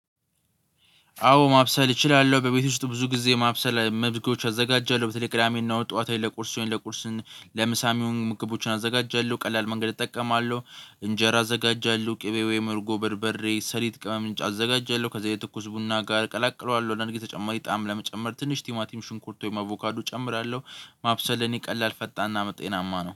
አዎ ማብሰል እችላለ፤። በቤት ውስጥ ብዙ ጊዜ ማብሰል መዝጊያዎች አዘጋጃለሁ በተለይ ቅዳሜና ጠዋታዬን ለቁርስን ለቁርስን ለምሳም የሆኑ ምግቦችን አዘጋጃለሁ ቀላል መንገድ እጠቀማለሁ። እንጀራ አዘጋጃለሁ ቅቤ ወይም እርጎ በርበሬ ሰሊጥ ቅመምንጭ አዘጋጀለሁ ከዛ የትኩስ ቡና ጋር ቀላቅሏል ወደ እንግዲህ ተጨማሪ ጣዕም ለመጨመር ትንሽ ቲማቲም ሽንኩርቶ አቮካዱ እጨምራለሁ። ማብሰየ እኔ ቀላል ፈጣንና ጤናማ ነው